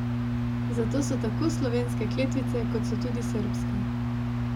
Zato so tako slovenske kletvice, kot so tudi srbske.